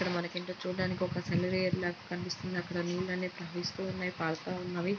అక్కడ మనకి ఏంటో చూడ్డానికి ఒక సెలయేరు లాగ కనిపిస్తుంది. అక్కడ నీళ్లు అనేవి ప్రవహిస్తూ ఉన్నాయి . పారుతూ ఉన్నవి.